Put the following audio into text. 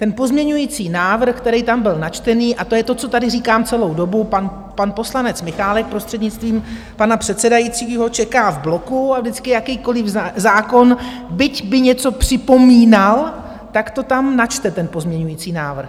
Ten pozměňovací návrh, který tam byl načtený - a to je to, co tady říkám celou dobu, pan poslanec Michálek, prostřednictvím pana předsedajícího, čeká v bloku a vždycky jakýkoliv zákon, byť by něco připomínal, tak to tam načte, ten pozměňovací návrh.